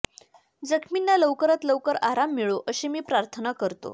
जखमींना लवकरात लवकर आराम मिळो अशी मी प्रार्थना करतो